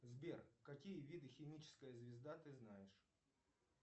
сбер какие виды химическая звезда ты знаешь